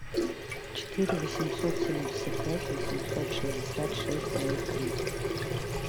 четыре восемьсот семьдесят пять восемьсот шестьдесят шесть ноль три